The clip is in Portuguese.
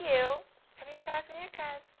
E eu ficava em casa, minha casa.